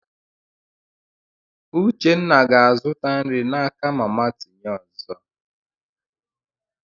Uchenna ga-azụta nri n'aka mam tinye ọzọ.